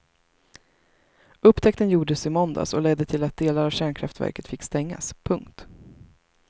Upptäckten gjordes i måndags och ledde till att delar av kärnkraftverket fick stängas. punkt